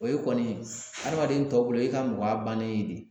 O ye kɔni adamaden tɔw bolo o ye e ka mɔgɔya bannen de